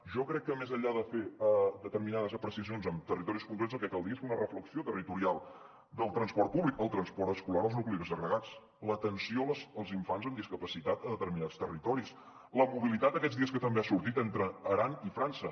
jo crec que més enllà de fer determinades apreciacions per a territoris concrets el que caldria és fer una reflexió territorial del transport públic el transport escolar als nuclis agregats l’atenció als infants amb discapacitat a determinats territoris la mobilitat aquests dies que també ha sortit entre l’aran i frança